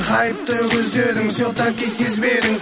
қайыпты көздерің все таки сезбедің